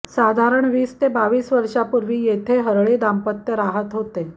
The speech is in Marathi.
साधारण वीस ते बावीस वर्षा पुर्वी येथे हरळे दांपत्य रहात होते